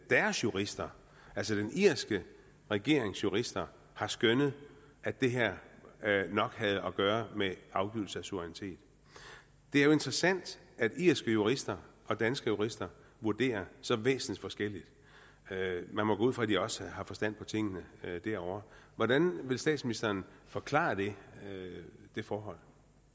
deres jurister altså den irske regerings jurister har skønnet at det her nok havde at gøre med afgivelse af suverænitet det er jo interessant at irske jurister og danske jurister vurderer så væsensforskelligt man må gå ud fra at de også har forstand på tingene derovre hvordan vil statsministeren forklare det forhold